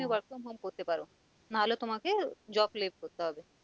তুমি work from home করতে পারো না হলে তোমাকে job left করতে হবে।